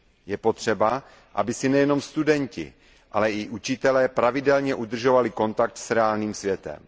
Je potřeba, aby si nejenom studenti, ale i učitelé pravidelně udržovali kontakt s reálným světem.